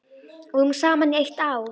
Við vorum saman í eitt ár.